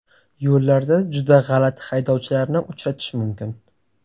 Yo‘llarda juda g‘alati haydovchilarni uchratish mumkin.